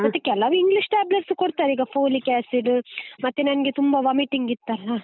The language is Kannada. ಮತ್ತೆ ಕೆಲವು english tablets ಕೊಡ್ತಾರೆ ಈಗ polic acid , ಮತ್ತೆ ನಂಗೆ ತುಂಬಾ vomiting ಇತ್ತಲ್ಲ.